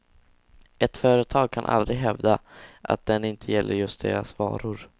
Ett företag kan aldrig hävda att den inte gäller just deras varor.